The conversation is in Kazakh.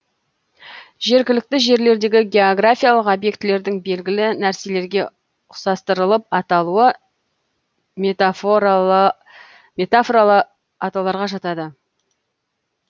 жергілікті жерлердегі географиялық объектілердің белгілі нәрселерге ұқсастырылып аталуы метафоралы атауларға жатады